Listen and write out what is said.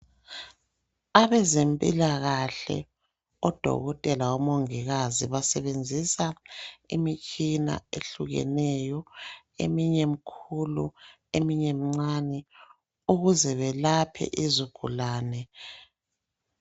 Abezempilakahle odokotela labomongikazi basebenzisa imitshina ehlukeneyo. Eminye mkhulu eminye mncane ukuze belaphe izigulane.